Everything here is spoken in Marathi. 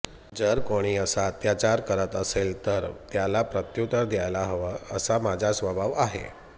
जर कोणी असा अत्याचार करत असेल तर त्याला प्रत्युत्तर द्यायला हव असा माझा स्वभाव आहे